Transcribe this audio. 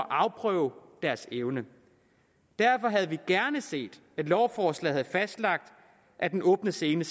afprøve deres evner derfor havde vi gerne set at lovforslaget havde fastlagt at den åbne scene